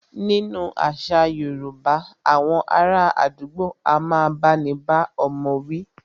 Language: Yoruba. Nínú àṣà yorúbá, awọn ará àdúgbò a máà bá ní bá ọmọ wí.